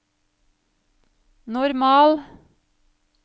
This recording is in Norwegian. normal